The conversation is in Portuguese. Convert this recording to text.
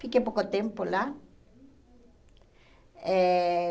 Fiquei pouco tempo lá. Eh